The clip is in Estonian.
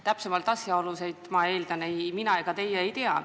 Täpsemaid asjaolusid, ma eeldan, ei mina ega teie ei tea.